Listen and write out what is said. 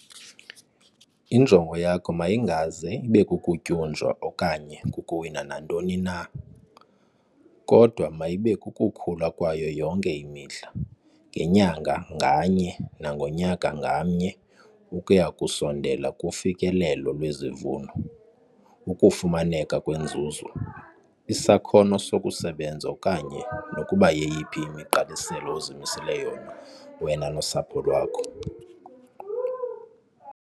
Injongo yakho mayingaze ibe kukutyunjwa okanye kukuwina nantoni na, kodwa mayibe kukukhula kwayo yonke imihla, ngenyanga nganye nangonyaka ngamnye ukuya ngokusondela kufikelelo lwezivuno, ukufumaneka kwenzuzo, isakhono sokusebenza okanye nokuba yeyiphi imigqaliselo ozimisele yona wena nosapho lwakho.